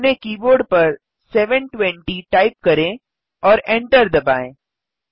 अपने कीबोर्ड पर 720 टाइप करें और और एन्टर दबाएँ